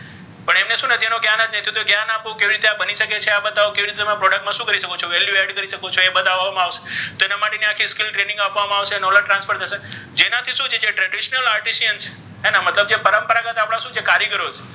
તેઓ કયાના છે તો ક્યા રીતે બની શકે છે કેવી રીતે આ product મા શુ કરી શકો છો value add કરી શકો છો ઍ બતાવા મા આવશે તો ઍના માટે skill training આપવા મા આવશે knowledge transfer થશે જેનાથી શુ છે કે traditional artition છે હે ને મતલબ કે જે પરમપરાગત શુ છે કારીગરો છે તેના માટે તે,